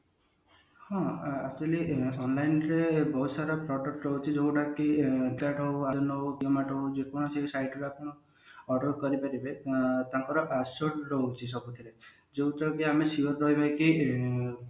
ହଁ actually online ରେ ବହୁତ ସାରା product ରହୁଛି ଯୋଉ ଗୁଡାକ product ରହୁଛି ଯୋଉ ଗୁଡାକି flip cart ହଉ ହଉ Zomato ହଉ ଯେ କୌଣସି site ରୁ ଆପଣ order କରିପାରିବେ ଆଁ ଆଉ ତାଙ୍କର assured ରହୁଛି ସବୁଥିରେ ଜଓୟାଉଥିରେ କି ଆମେ sure ରହିଲେ କି ଇଁ